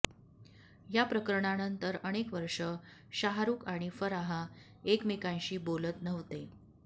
या प्रकरणानंतर अनेक वर्षं शाहरुख आणि फराह एकमेकाशी बोलत नव्हते